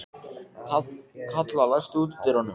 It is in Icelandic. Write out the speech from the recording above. Kalla, læstu útidyrunum.